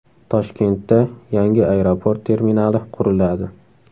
Toshkentda yangi aeroport terminali quriladi .